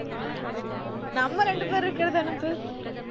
நம்ம ரெண்டு பேர் இருக்கறதை அனுப்பு